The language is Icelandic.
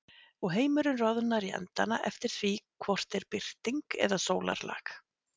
Og heimurinn roðnar í endana eftir því hvort er birting eða sólarlag.